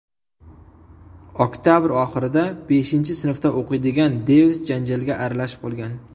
Oktabr oxirida beshinchi sinfda o‘qiydigan Devis janjalga aralashib qolgan.